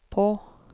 på